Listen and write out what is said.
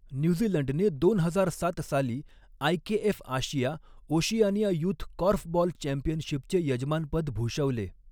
न्यूझीलंडने दोन हजार सात साली IKF Asia Oceania youth korfball चॅम्पियनशिपचे यजमानपद भूषवले.